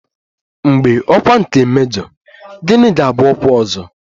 Mgbe ọkwa nke mejọ, gịnị ga-abụ ọkwa ọzọ?